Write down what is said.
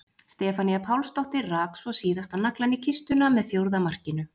Stefanía Pálsdóttir rak svo síðasta naglann í kistuna með fjórða markinu.